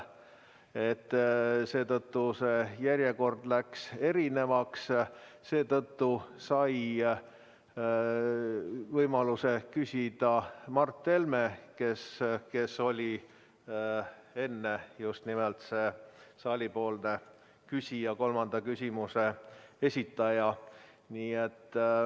Seetõttu järjekord muutus ja võimaluse küsida sai Mart Helme, kes oli enne just nimelt see saalipoolne küsija, kolmanda küsimuse esitaja.